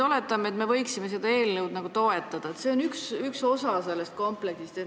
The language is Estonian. Oletame, et me toetame seda eelnõu, kuna see on üks osa suuremast kompleksist.